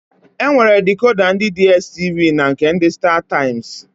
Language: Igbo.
E nwere dikoda ndị Diestivi na nke ndị Stataịmsị.